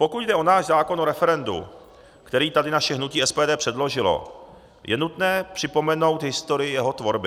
Pokud jde o náš zákon o referendu, který tady naše hnutí SPD předložilo, je nutné připomenout historii jeho tvorby.